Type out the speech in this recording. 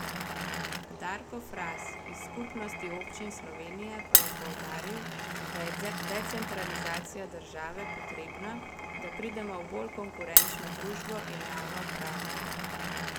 Darko Fras iz Skupnosti občin Slovenije pa je poudaril, da je decentralizacija države potrebna, da pridemo v bolj konkurenčno družbo in javno upravo.